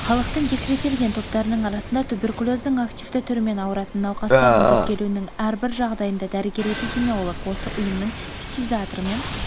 халықтың декреттелген топтарының арасында туберкулездің активті түрімен ауыратын науқастардың тіркелуінің әрбір жағдайында дәрігер-эпидемиолог осы ұйымның фтизиаторымен